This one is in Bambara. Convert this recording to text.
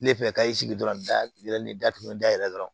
Ne fɛ ka i sigi dɔrɔn n da yɛlɛ ne da pewu da yɛlɛ dɔrɔn